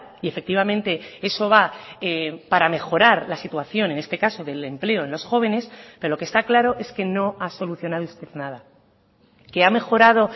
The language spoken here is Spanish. y efectivamente eso va para mejorar la situación en este caso del empleo en los jóvenes pero lo que está claro es que no ha solucionado usted nada que ha mejorado